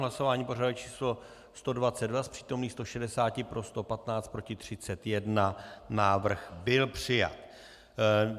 Hlasování pořadové číslo 122, z přítomných 160 pro 115, proti 31, návrh byl přijat.